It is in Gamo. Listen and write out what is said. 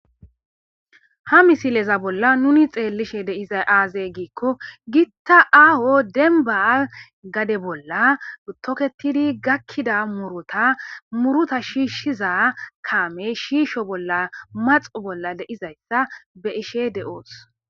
ha misileza bolla nuni xeellishe deiza aazey giikko gitta aaho denba gade bolla toketidi gakkida murota muruta shiishshiza kaame shiisho bolla maxu bolla deizayssa be ishe de7oos